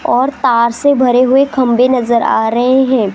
और तार से भरे हुए खंभे नजर आ रहे हैं।